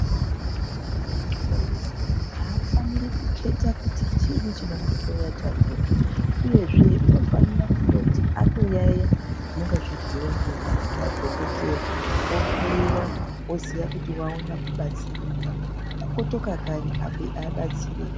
Muntu eihloiwa hafaniri kuketa kuti chiini chinomuhloya chakona, uyezve unofanira kutoti atoyaiya zvinonga zveibhuiva ngemadhogodheya ohloiwa oziva kuti vaona kubatsirika okotoka kanyi abatsirika.